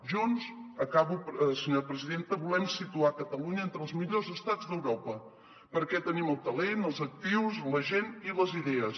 junts acabo senyora presidenta volem situar catalunya entre els millors estats d’europa perquè tenim el talent els actius la gent i les idees